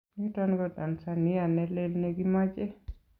Niton ko Tanzania nelel nekimache.